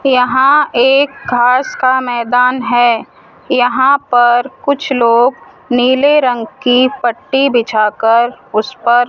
यहां एक घास का मैदान है यहां पर कुछ लोग नीले रंग की पट्टी बिछाकर उस पर--